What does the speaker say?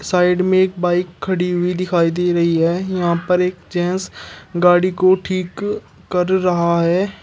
Side में एक bike खड़ी हुई दिखाई दे रही हैं यहां पर एक जेंट्स गाड़ी को ठीक कर रहा है।